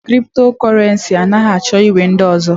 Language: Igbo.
Kriptokurenci anaghị achọ iwu ndị ọzọ.